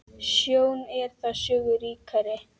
Sjón er þar sögu ríkari.